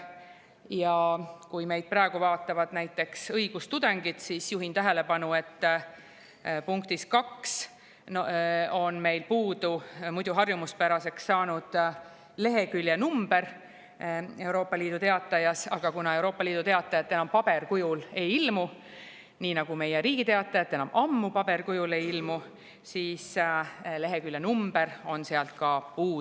Ja kui meid praegu vaatavad näiteks õigustudengid, siis juhin tähelepanu, et punktis 2 on meil puudu muidu harjumuspäraseks saanud leheküljenumber Euroopa Liidu Teatajas, aga kuna Euroopa Liidu Teatajat enam paberkujul ei ilmu – meie Riigi Teataja ei ilmu enam ammu paberkujul –, siis on ka leheküljenumber sealt puudu.